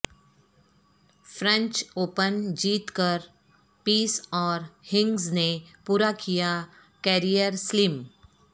French Open جیت کر پیس اور ہنگس نے پورا کیا کیریئر سلیم